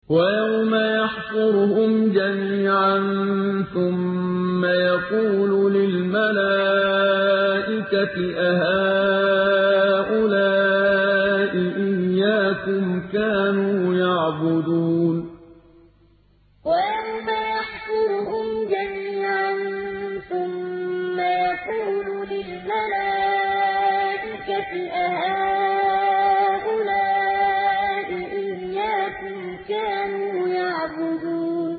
وَيَوْمَ يَحْشُرُهُمْ جَمِيعًا ثُمَّ يَقُولُ لِلْمَلَائِكَةِ أَهَٰؤُلَاءِ إِيَّاكُمْ كَانُوا يَعْبُدُونَ وَيَوْمَ يَحْشُرُهُمْ جَمِيعًا ثُمَّ يَقُولُ لِلْمَلَائِكَةِ أَهَٰؤُلَاءِ إِيَّاكُمْ كَانُوا يَعْبُدُونَ